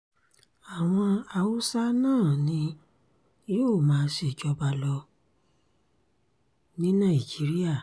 àwọn haúsá náà ni yóò máa ṣèjọba lọ ní nàìjíríà